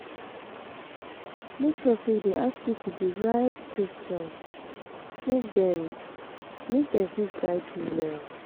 Make sure say you de ask pipo di right questions make dem make dem fit guide you well